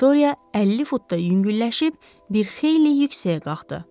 Viktoriya 50 fut da yüngülləşib, bir xeyli yüksəyə qalxdı.